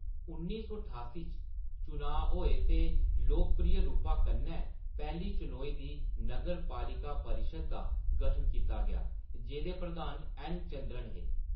उन्नी सौ ठास्सी च, चुनांऽ होए ते लोकप्रिय रूपा कन्नै पैह्‌ली चनोई दी नगरपालिका परिशद् दा गठन कीता गेआ, जेह्‌दे प्रधान एन. चंद्रन हे।